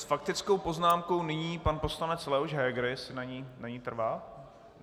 S faktickou poznámkou nyní pan poslanec Leoš Heger, jestli na ní trvá.